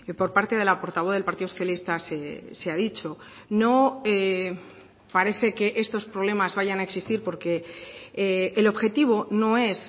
por parte de la portavoz del partido socialista se ha dicho no parece que estos problemas vayan a existir porque el objetivo no es